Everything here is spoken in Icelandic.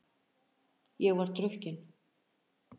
Ég var drukkin.